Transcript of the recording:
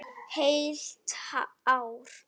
Heilt ár!